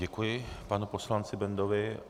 Děkuji, panu poslanci Bendovi.